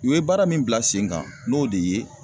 U ye baara min bila sen kan n'o de ye